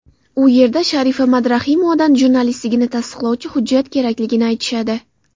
U yerda Sharifa Madrahimovadan jurnalistligini tasdiqlovchi hujjat kerakligini aytishadi.